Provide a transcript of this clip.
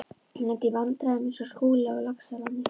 Þeir lenda í vandræðum eins og Skúli á Laxalóni.